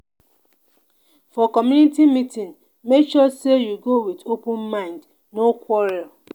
for community meeting make sure say you go with open mind no quarrel.